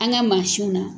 An ka mansinw na